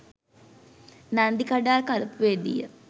Nandikadal කලපුවේදීය